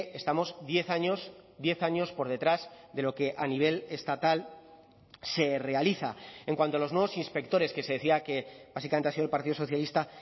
estamos diez años diez años por detrás de lo que a nivel estatal se realiza en cuanto a los nuevos inspectores que se decía que básicamente ha sido el partido socialista